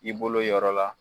I bolo yɔrɔ la